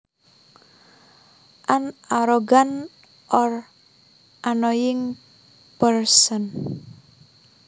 An arrogant or annoying person